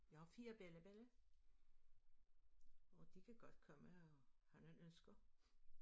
Jeg har 4 bella bella og de kan godt komme og have nogle ønsker